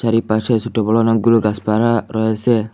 চারিপাশে ছোট বড় অনেকগুলো গাছপালা রয়েসে।